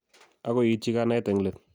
agoi iitchi kanaet eng let